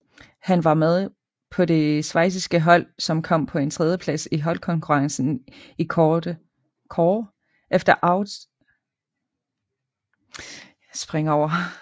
Han var med på det schweiziske hold som kom på en tredjeplads i holdkonkurrencen i kårde efter Italien og Sverige